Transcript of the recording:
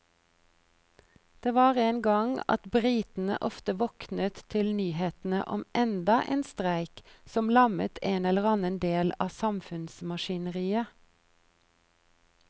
Det var en gang at britene ofte våknet til nyhetene om enda en streik som lammet en eller annen del av samfunnsmaskineriet.